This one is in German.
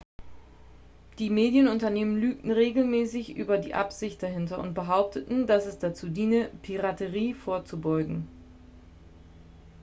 "die medienunternehmen lügen regelmäßig über die absicht dahinter und behaupten dass es dazu diene "piraterie vorzubeugen"".